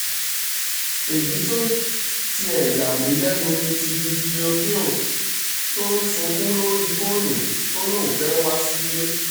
èyí tó tiẹ̀ yà mí lẹ́nu ni ti bibliothea tó ń sunkún lórí fóònù tó ní òun fẹ́ẹ́ wá sílẹ̀